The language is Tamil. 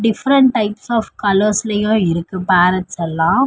டிஃப்ரண்ட் டைப்ஸ் ஆஃப் கலர்ஸ்ளையு இருக்கு பேரட்ஸல்லா .